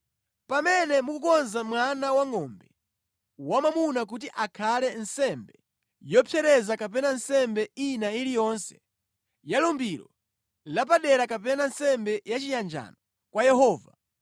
“ ‘Pamene mukukonza mwana wangʼombe wamwamuna kuti akhale nsembe yopsereza kapena nsembe ina iliyonse: ya lumbiro lapadera kapena nsembe yachiyanjano kwa Yehova,